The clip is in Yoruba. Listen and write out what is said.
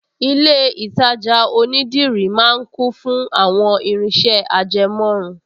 Ilé-ìtajà onídìrí máa ń kún fún àwọn irinṣẹ́ ajẹmọ́run